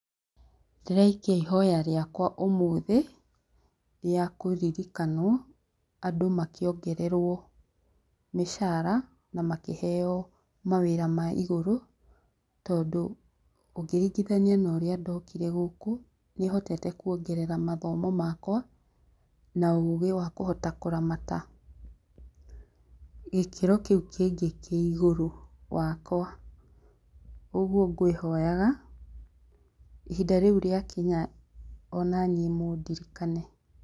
Ndĩraikia ihoya rĩakwa ũmũthĩ, rĩa kũririkanwo, andũ makĩongererwo mĩcara, na makĩheo mawĩra ma igũrũ, tondũ ũngĩringithania na ũrĩa ndokire gũkũ, nĩhotete kuongerera mathomo makwa na ũgĩ wa kũhota kũramata gĩkĩro kĩu kĩngĩ kĩ igũrũ wakwa. Ũguo ngwĩhoyaga ihinda rĩu rĩakinya ona niĩ mũndirikane.